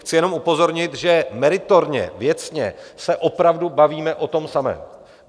Chci jenom upozornit, že meritorně, věcně, se opravdu bavíme o tom samém.